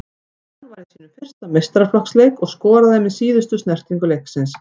Hann var í sínum fyrsta meistaraflokksleik og skoraði með síðustu snertingu leiksins.